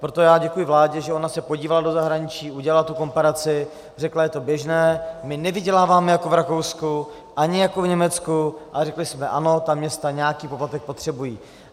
Proto já děkuji vládě, že ona se podívala do zahraničí, udělala tu komparaci, řekla, je to běžné, my nevyděláváme jako v Rakousku ani jako v Německu, a řekli jsme ano, ta města nějaký poplatek potřebují.